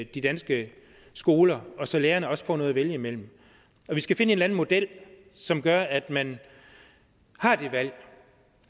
de danske skoler så lærerne også får noget at vælge imellem vi skal finde en eller anden model som gør at man har det valg